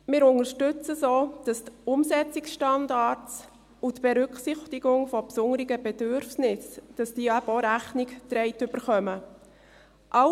Wir unterstützen es, dass auch den Umsetzungsstandards und der Berücksichtigung besonderer Bedürfnisse Rechnung getragen wird.